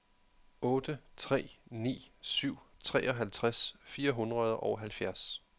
otte tre ni syv treoghalvtreds fire hundrede og halvfjerds